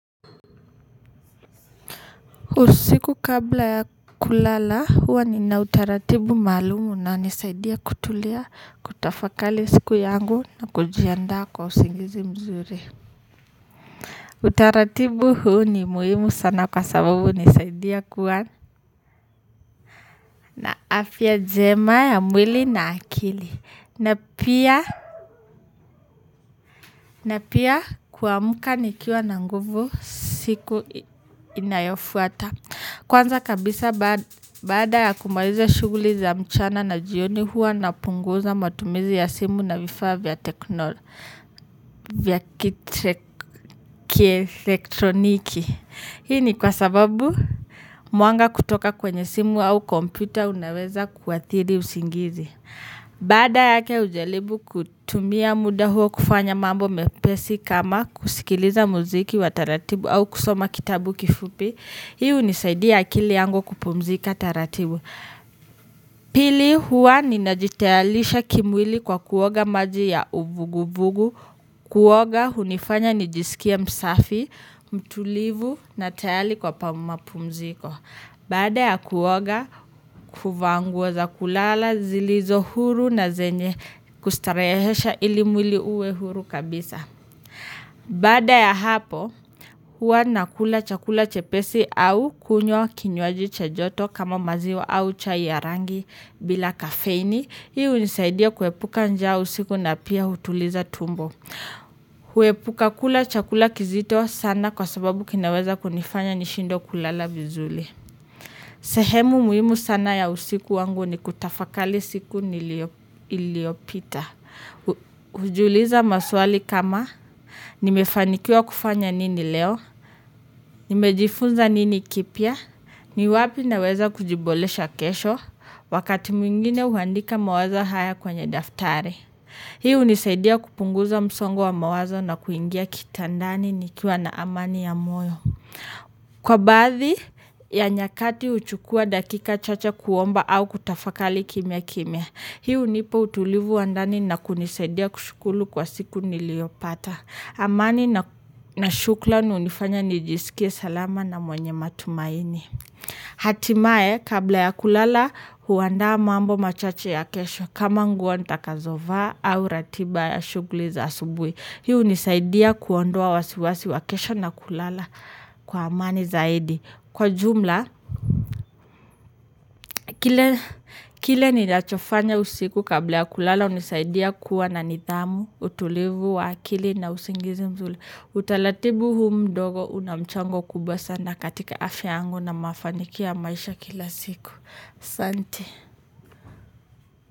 Usiku kabla ya kulala huwa ni na utaratibu malumu unanisaidia kutulia kutafakali siku yangu na kujiandaa kwa usingizi mzuri. Utaratibu huu ni muhimu sana kwa sababu unisaidia kuwa na afia njema ya mwili na akili. Na pia kuamuka nikiwa na nguvu siku inayofuata. Kwanza kabisa baada ya kumaliza shuguli za mchana na jioni hua napunguza matumizi ya simu na vifaa vya teknolo, vya kitreke elektroniki. Hii ni kwa sababu muanga kutoka kwenye simu au komputer unaweza kuwathiri usingizi. Bada yake ujalibu kutumia muda huo kufanya mambo mepesi kama kusikiliza muziki wa taratibu au kusoma kitabu kifupi. Hi unisaidia akili yangu kupumzika taratibu. Pili hua ninajitalisha kimwili kwa kuoga maji ya uvuguvugu. Kuoga unifanya nijisikie msafi, mtulivu na tayali kwa pamumapumziko. Bada ya kuwoga, kufa nguwo za kulala zilizo huru na zenye kustarehesha ili muili uwe huru kabisa. Bada ya hapo, huwa nakula chakula chepesi au kunywa kinywaji cha joto kama maziwa au chai ya rangi bila kafeini. Hii unisaidia kuepuka njaa usiku na pia utuliza tumbo. Huepuka kula chakula kizito sana kwa sababu kinaweza kunifanya nishindwe kulala vizuli. Sehemu muhimu sana ya usiku wangu ni kutafakali siku niliopita. Ujuliza maswali kama nimefanikiwa kufanya nini leo. Nimejifunza nini kipia. Ni wapi naweza kujibolesha kesho. Wakati mwingine uhandika mawazo haya kwenye daftari. Hi unisaidia kupunguza msongo wa mawazo na kuingia kitandani nikiwa na amani ya moyo. Kwa bathi ya nyakati uchukua dakika chacha kuomba au kutafakali kimia kimia. Hi u nipa utulivu wa ndani na kunisaidia kushukulu kwa siku niliopata. Amani nashukla unifanya nijisikie salama na mwenye matumaini. Hatimae kabla ya kulala huwanda mambo machache ya kesho kama nguwo nta kazova au ratiba ya shukuli za asubui. Hi unisaidia kuondoa wasiwasi wa kesho na kulala. Kwa amani zaidi. Kwa jumla, kile ninachofanya usiku kabla ya kulala unisaidia kuwa na nithamu, utulivu, wakili na usingizi mzuli. Utalatibu huu mdogo unamchango kubwa sana katika afya yangu na mafanikio ya maisha kila siku. Asante.